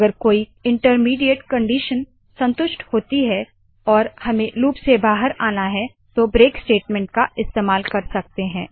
अगर कोई इंटरमिडीएट दर्मियानी कंडीशन संतुष्ट होती है और हमें लूप से बाहर आना है तो ब्रेक स्टेटमेंट का इस्तेमाल कर सकते है